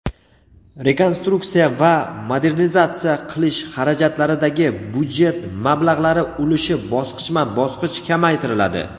rekonstruksiya va modernizatsiya qilish xarajatlaridagi byudjet mablag‘lari ulushi bosqichma-bosqich kamaytiriladi.